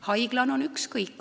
Haiglal on ükskõik.